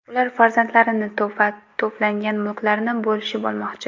Ular farzandlarini va to‘plangan mulklarni bo‘lishib olmoqchi.